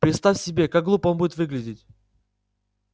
представь себе как глупо он будет выглядеть